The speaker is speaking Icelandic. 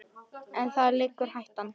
En þar liggur hættan.